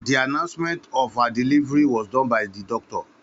Ó ìåíÿ åñòü ó ìåíÿ ê âîïðîñó doctor.